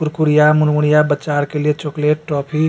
कुरकुड़िया मुरमुरिया बच्चा आर के लिए चॉकलेट टॉफ़ी --